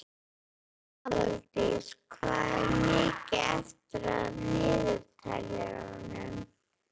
Aðaldís, hvað er mikið eftir af niðurteljaranum?